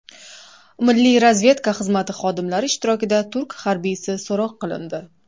Milliy razvedka xizmati xodimlari ishtirokida turk harbiysi so‘roq qilindi.